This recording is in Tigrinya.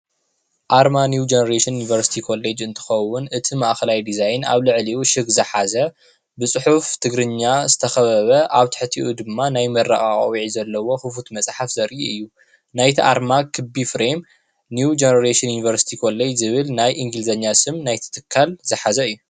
ኣርማ ኒው ጄነሬሽን ዩኒቨርሲቲ ኮሌጅ እንትኸውን እቲ ማእኸላይ ዲዛይን ኣብ ልዕሊኡ ሽግ ዝሓዘ ብፅሑፍ ትግርኛ ዝተኸበበ ኣብ ትሕቲኡ ድማ ናይ ምረቓ ቖቢዕ ዘለዎ ክፉት መጽሓፍ ዘርኢ እዩ ናይቲ ኣርማ ክቢ ፍሬም ኒው ጄነሬሽን ዩኒቨርሲቲ ኮሌጅ ዝብል ናይ እንግሊዘኛ ስም ናይቲ ትካል ዝሓዘ እዩ።